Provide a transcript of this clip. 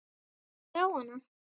Hver á hana?